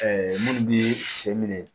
minnu bɛ sen minɛ